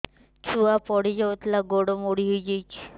ଛୁଆ ପଡିଯାଇଥିଲା ଗୋଡ ମୋଡ଼ି ହୋଇଯାଇଛି